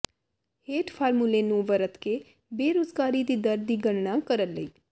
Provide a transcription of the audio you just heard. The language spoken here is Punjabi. ਹੇਠ ਫਾਰਮੂਲੇ ਨੂੰ ਵਰਤ ਕੇ ਬੇਰੁਜ਼ਗਾਰੀ ਦੀ ਦਰ ਦੀ ਗਣਨਾ ਕਰਨ ਲਈ